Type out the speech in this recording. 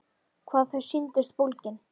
Hvað þau sýndust bólgin!